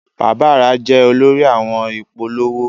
Bàbá rẹ jẹ olórí àwọn ìpolówó.